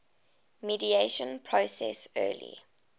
mediation process early